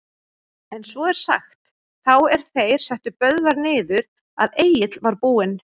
En svo er sagt, þá er þeir settu Böðvar niður, að Egill var búinn